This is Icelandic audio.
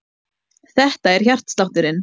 Þetta er hjartslátturinn.